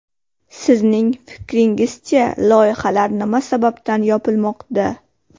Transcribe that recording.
Sizning fikringizcha, loyihalar nima sababdan yopilmoqda?